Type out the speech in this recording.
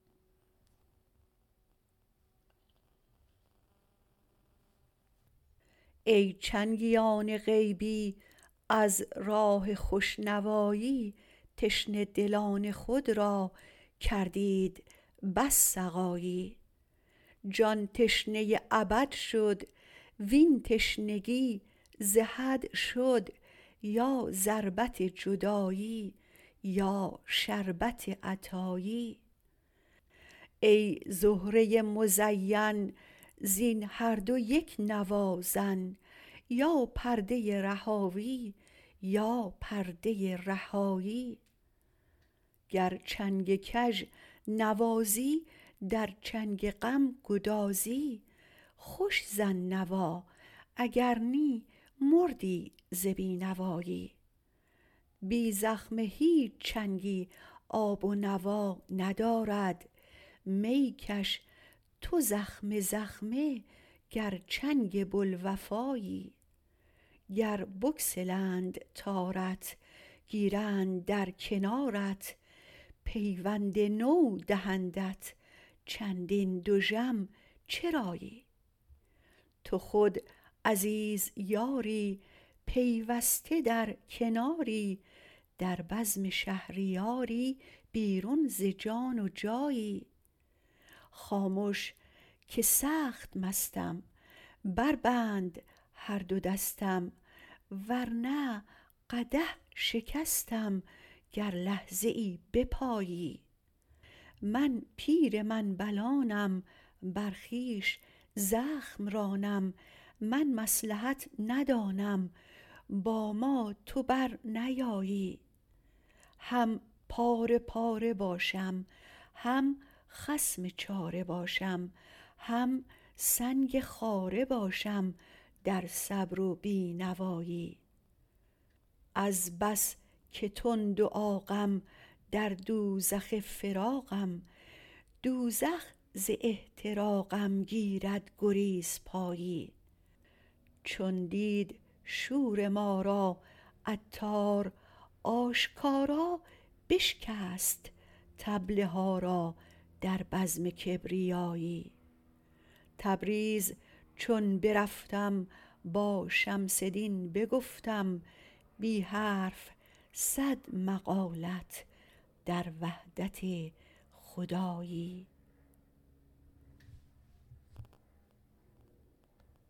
ای چنگیان غیبی از راه خوش نوایی تشنه دلان خود را کردید بس سقایی جان تشنه ابد شد وین تشنگی ز حد شد یا ضربت جدایی یا شربت عطایی ای زهره مزین زین هر دو یک نوا زن یا پرده رهاوی یا پرده رهایی گر چنگ کژ نوازی در چنگ غم گدازی خوش زن نوا اگر نی مردی ز بی نوایی بی زخمه هیچ چنگی آب و نوا ندارد می کش تو زخمه زخمه گر چنگ بوالوفایی گر بگسلند تارت گیرند بر کنارت پیوند نو دهندت چندین دژم چرایی تو خود عزیز یاری پیوسته در کناری در بزم شهریاری بیرون ز جان و جایی خامش که سخت مستم بربند هر دو دستم ور نه قدح شکستم گر لحظه ای بپایی من پیر منبلانم بر خویش زخم رانم من مصلحت ندانم با ما تو برنیایی هم پاره پاره باشم هم خصم چاره باشم هم سنگ خاره باشم در صبر و بی نوایی از بس که تند و عاقم در دوزخ فراقم دوزخ ز احتراقم گیرد گریزپایی چون دید شور ما را عطار آشکارا بشکست طبل ها را در بزم کبریایی تبریز چون برفتم با شمس دین بگفتم بی حرف صد مقالت در وحدت خدایی